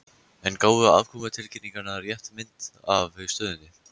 En gáfu afkomutilkynningar rétta mynd af stöðunni?